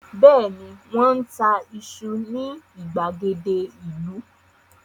Bẹ́ẹ̀ni, Wọ́n ń ta iṣu ní ìgbàgede ìlú